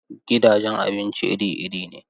Gidajen abinci iri iri ne.